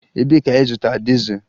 Ebee ka ịzụta dizel?